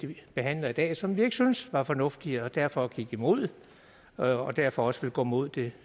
vi behandler i dag som vi ikke syntes var fornuftig og derfor gik imod og derfor også vil gå imod det